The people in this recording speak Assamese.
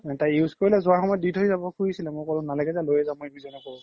তাই use কৰিলে জুৱা সময়ত দি থই যাব খুজিছিলে মই ক্'লো নালাগে যা লইয়ে যা